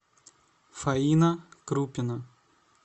фаина крупина